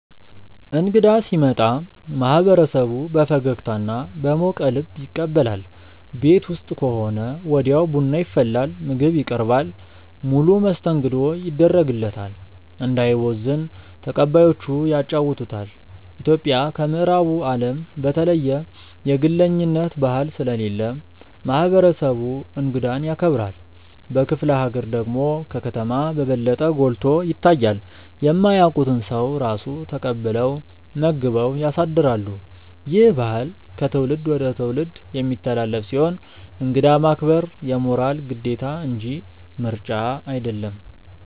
እንግዳ ሲመጣ ማህበረሰቡ በፈገግታና በሞቀ ልብ ይቀበላል። ቤት ውስጥ ከሆነ ወዲያው ቡና ይፈላል፣ ምግብ ይቀርባል፣ ሙሉ መስተንግዶ ይደረግለታል። እንዳይቦዝን ተቀባዮቹ ያጫውቱታል። ኢትዮጵያ ከምዕራቡ አለም በተለየ የግለኝነት ባህል ስለሌለ ማህበረሰቡ እንግዳን ያከብራል። በክፍለ ሀገር ደግሞ ከከተማ በበለጠ ጎልቶ ይታያል። የማያውቁትን ሰው ራሱ ተቀብለው መግበው ያሳድራሉ። ይህ ባህል ከትውልድ ወደ ትውልድ የሚተላለፍ ሲሆን እንግዳ ማክበር የሞራል ግዴታ እንጂ ምርጫ አይደለም።